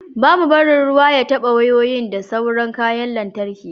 ba mu a barin ruwa ya taba wayoyi da sauran kayan lantarki